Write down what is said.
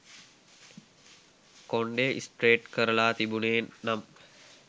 කොණ්ඩය straight කරලා තිබුනේ නම්